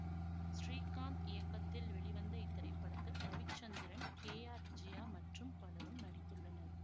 ஸ்ரீகாந்த் இயக்கத்தில் வெளிவந்த இத்திரைப்படத்தில் ரவிச்சந்திரன் கே ஆர் விஜயா மற்றும் பலரும் நடித்துள்ளனர்